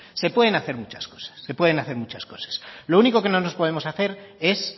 se pueden hacer muchas cosas se pueden hacer muchas cosas lo único que no nos podemos hacer es